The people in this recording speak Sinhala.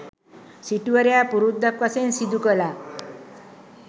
සිටුවරයා පුරුද්දක් වශයෙන් සිදුකළා.